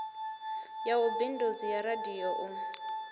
ya vhubindudzi ya radio u